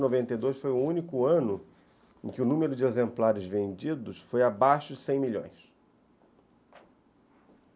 Você vê que noventa e dois foi o único ano em que o número de exemplares vendidos foi abaixo de cem milhões.